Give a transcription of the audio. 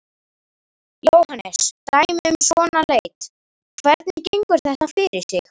Jóhannes: Dæmi um svona leit, hvernig gengur þetta fyrir sig?